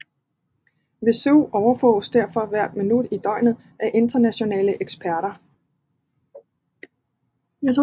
Vesuv overvåges derfor hvert minut i døgnet af internationale eksperter